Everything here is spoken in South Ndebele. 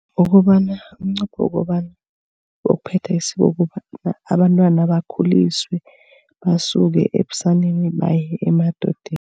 Wokobana umnqopho wokobana wokuphetha isiko. Ukobana abantwana bakhuliswe basuke ebusaneni baye emadodeni.